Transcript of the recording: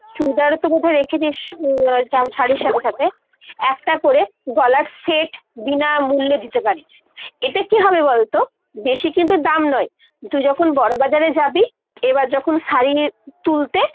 চুড়িদার তো বোধয় রেখেছিস শাড়ীর সাথে সাথে ? একটা করে গলার set বিনামূল্যে দিতে পারিস। এতে কী হবে বলতো বেশি কিন্তু দাম নয়, তুই যখন বড়বাজারে যাবি এবার যখন শাড়ী তুলতে।